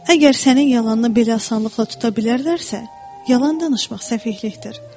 Əgər sənin yalanını belə asanlıqla tuta bilərlərsə, yalan danışmaq səfehlikdir.